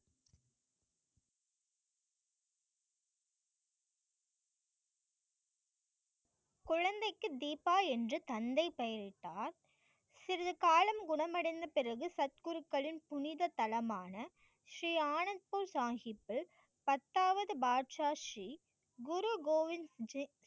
குழந்தைக்கு தீபா என்று தந்தை பெயரிட்டார். சில காலம் குணமடைந்த பிறகு சத்குருக்களின் புனித தளமான ஸ்ரீ ஆனந்த் பூர் சாஹிப்யில் பத்தாவது பாட்ஷா ஜி குரு கோவிந் ஜி.